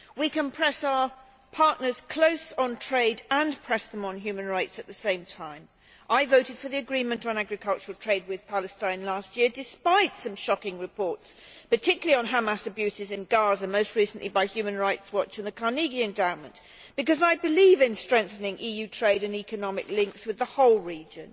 We can press our partners close on trade and on human rights at the same time. I voted for the agreement on agricultural trade with Palestine last year, despite some shocking reports particularly on Hamas abuses in Gaza most recently by Human Rights Watch and the Carnegie Endowment, because I believe in strengthening EU trade and economic links with the whole region.